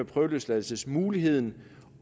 prøveløsladelsesmuligheden